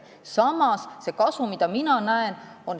Samas, mina näen selles siiski kasu.